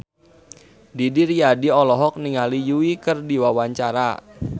Didi Riyadi olohok ningali Yui keur diwawancara